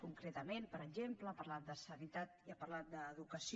concretament per exemple ha parlat de sanitat i ha parlat d’educació